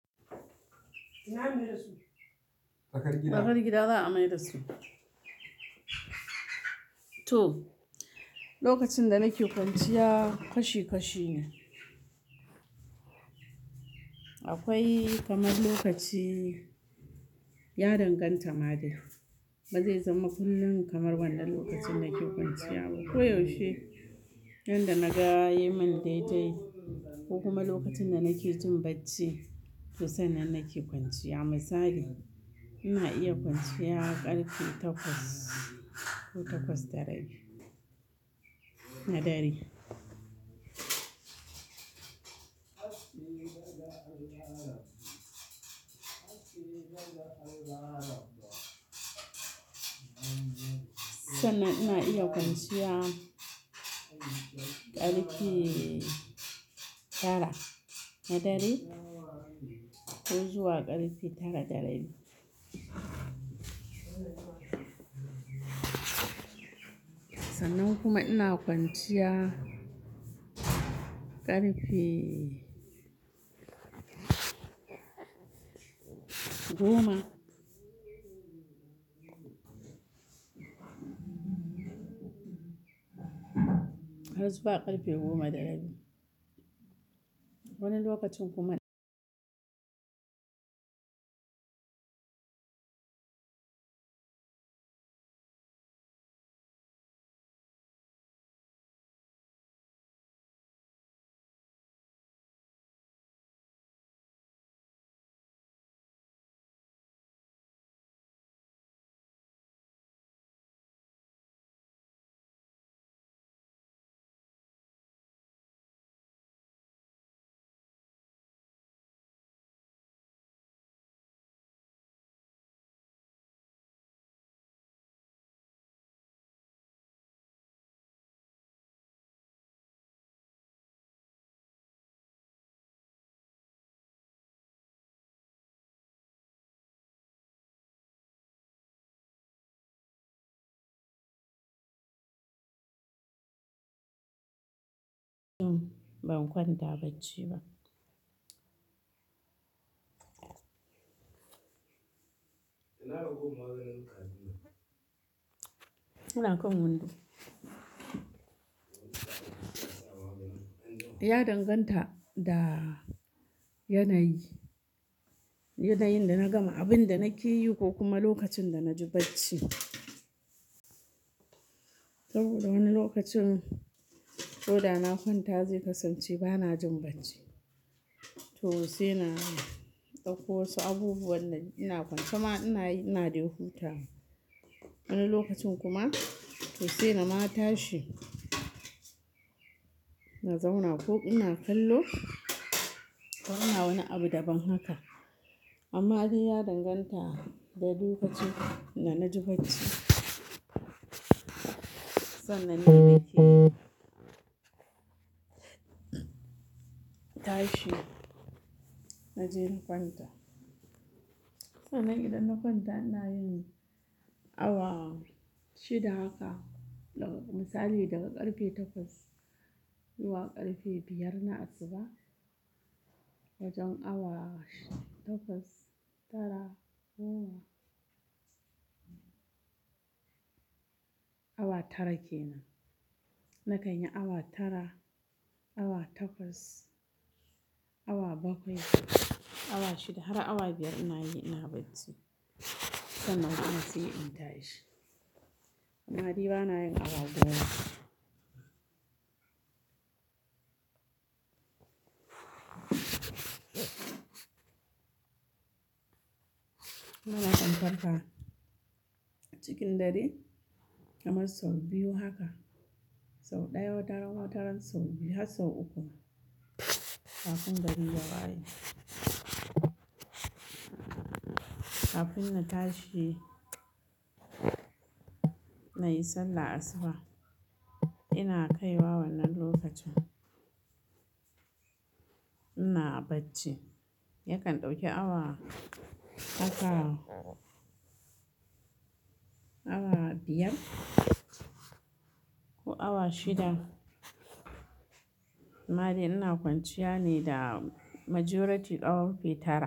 Tsaakar gida za a mai da su. To, lokacin da nake kwanciya kashi kashi ne. Akwai kamar lokaci, ya danganta ma dai, ba zai zama kullum kamar wannan lokacin nake kwanciya ba. Koyaushe, yanda na ga, yai mun daidai ko kuma lokacin da nake jin bacci, to sannan nake kwanciya. Misali, ina iya kwanciya ƙarfe takwas ko takwas da rabi, na dare. Sannan ina iya kwanciya ƙarfe tara na dare ko zuwa ƙarfe tara da rabi. Sannan kuma ina kwanciya ƙarfe goma. Har zuwa ƙarfe goma da rabi. Wani lokacin kuma- Hm, ban kwanta bacci ba ina kan windo. Ya danganta da yanayin, yanayin da na gama abin da nake yi ko kuma lokacin da na ji bacci. Saboda wani lokacin ko da na kwanta zai kasance ba na jin bacci, to sai na ɗauko wasu abubuwan da ina kwance ma ina, ina dai hutawa. Wani lokacin kuma to sai na ma tashi, in zauna ko ina kallo ko ina wani abu daban haka. Amma dai ya danganta. Da lokacin da naji bacci Sannan nake tashi na je in kwanta. Sannan idan na kwanta ina yin awa shida haka. Misali daga ƙarfe takwas zuwa ƙarfe biyar na asuba wajen awa takwas, tara, goma. Awa tara kenan na kanyi awa tara awa takwas awa bakwai awa shida har awa biyar inayi ina bacci sannan kuma sai in tashi aa ni bana yin awa goma har in farka cikin dare kamar sau biyu haka sau daya wataran sau biyu har sau uku kafin gari ya waye kafin na tashi nayi sallar asuba ina kaiwa wannan lokacin ina bacci yakan dauki awa haka awa biyar ko awa shida amma dai ina kwanciya ne da majority ƙarfe tara.